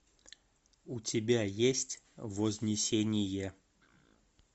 у тебя есть вознесение